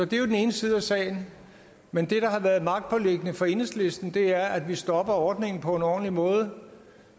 det er den ene side af sagen men det der har været magtpåliggende for enhedslisten er at vi stopper ordningen på en ordentlig måde